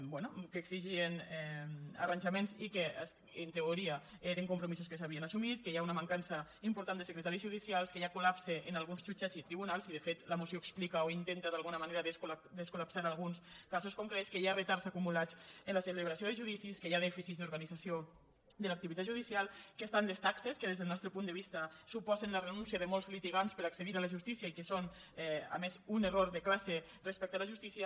bé que exigien arranjaments i que en teoria eren compromisos que s’havien assumit que hi ha una mancança important de secretaris judicials que hi ha col·lapse en alguns jutjats i tribunals i de fet la moció explica o intenta d’alguna manera descol·lapsar alguns casos concrets que hi ha retards acumulats en la celebració de judicis que hi ha dèficits d’organització de l’activitat judicial que estan les taxes que des del nostre punt de vista suposen la renúncia de molts litigants per a accedir a la justícia i que són a més un error de classe respecte a la justícia